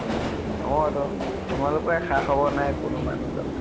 অ তো । তোমালোকৰে খা খবৰ নাই কোনো মানুহ চানুহ ।